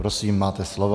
Prosím, máte slovo.